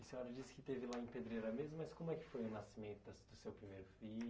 E a senhora disse que teve lá em Pedreira mesmo, mas como é que foi o nascimento da do seu primeiro filho?